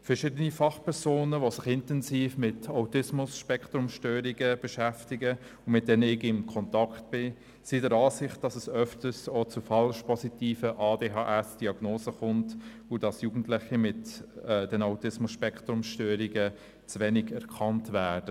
Verschiedene Fachpersonen, die sich intensiv mit Autismus-Spektrum-Störungen beschäftigen und mit denen ich in Kontakt stehe, sind der Ansicht, dass es oft auch zu falsch-positiven ADHS-Diagnosen kommt, und dass Jugendliche mit Autismus-Spektrum-Störungen zu selten erkannt werden.